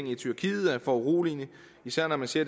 i tyrkiet er foruroligende især når man ser